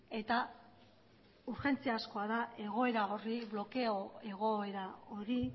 eta urgentziazkoa da egoera horri blokeo egoera hori